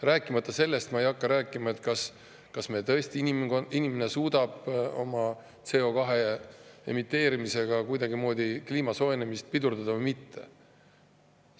Rääkimata sellest, kas inimene tõesti suudab CO2 emiteerimise kuidagimoodi kliima soojenemist pidurdada või mitte.